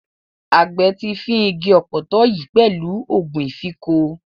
Àgbẹ̀ ti fín igi ọ̀pọ̀tọ́ yìí pẹ̀lú ògùn ìfínko.